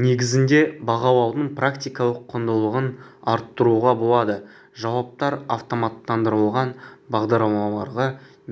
негізінде бағалаудың практикалық құндылығын арттыруға болады жауаптар автоматтандырылған бағдарламаларға